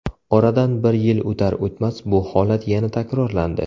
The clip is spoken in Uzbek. Oradan bir yil o‘tar-o‘tmas, bu holat yana takrorlandi.